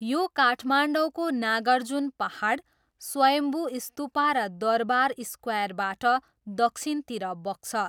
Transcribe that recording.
यो काठमाडौँको नागार्जुन पाहाड, स्वयम्भू स्तूपा र दरबार स्क्वायरबाट दक्षिणतिर बग्छ।